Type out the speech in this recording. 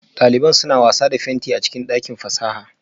Daliban suna wasa da fenti a cikin dakin fasaha